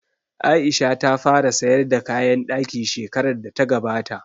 Aisha ta fara sayar da kayan ɗaki shekarar da ta gabata